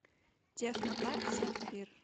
технопарк сапфир